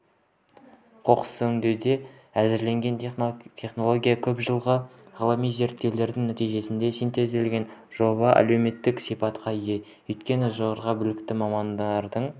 қоқысөңдеудің әзірленген технологиясы көпжылғы ғылыми зерттеудің нәтижесінде синтезделген жоба әлеуметтік сипатқа ие өйткені жоғары білікті мамандардың